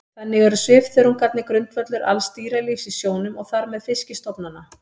Þannig eru svifþörungarnir grundvöllur alls dýralífs í sjónum og þar með fiskistofnanna.